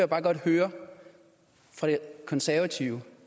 bare godt høre fra de konservative